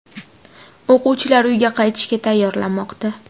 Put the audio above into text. O‘quvchilar uyga qaytishga tayyorlanmoqda.